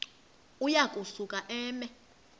uya kusuka eme